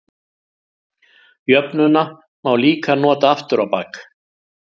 Jöfnuna má líka nota aftur á bak.